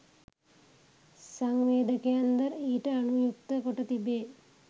සංවේදකයන් ද ඊට අනුයුක්ත කොට තිබේ